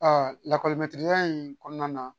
lakɔli ya in kɔnɔna na